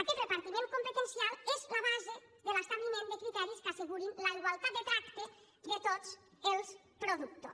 aquest repartiment competencial és la base de l’establiment de criteris que assegurin la igualtat de tracte de tots els productors